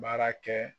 Baara kɛ